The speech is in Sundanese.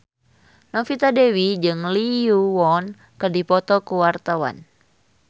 Novita Dewi jeung Lee Yo Won keur dipoto ku wartawan